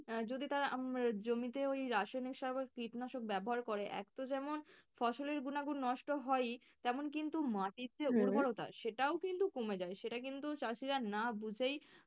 আহ যদি তারা জমিতে ওই রাসায়নিক সার বা কীটনাশক ব্যাবহার করে এক তো যেমন ফসলের গুণাগুণ নষ্ট হয়ই তেমন কিন্তু মাটির যে সেটাও কিন্তু কমে যায়। সেটা কিন্তু চাষীরা না বুঝেই,